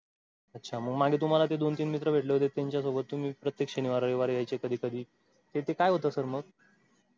अच्छा मागे तुम्हाला ते दोन तीन मित्र भेटले होते त्याच्या सोबत तुम्ही प्रत्येक शनिवार रविवार यायचे कधी ते ते काय होत sir मग?